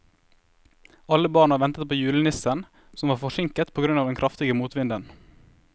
Alle barna ventet på julenissen, som var forsinket på grunn av den kraftige motvinden.